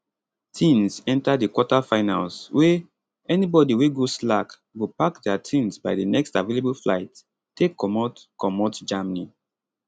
tins enta di quarterfinals wey anibody wey go slack go pack dia tins by di next available flight take comot comot germany